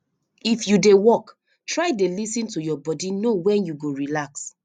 if you dey work try dey lis ten to your body know wen you go relax